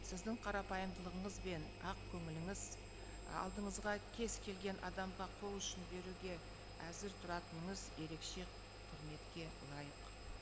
сіздің қарапайымдылығыңыз бен ақкөңіліңіз алдыңызға кез келген адамға қол ұшын беруге әзір тұратыныңыз ерекше құрметке лайық